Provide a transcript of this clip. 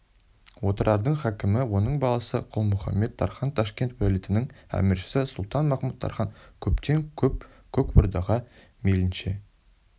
отырардың хакімі оның баласы құлмұхамет-тархан ташкент уәлиетінің әміршісі сұлтан махмуд-тархан көптен көп көк ордаға мейлінше